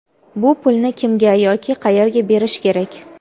Bu pulni kimga yoki qayerga berish kerak?.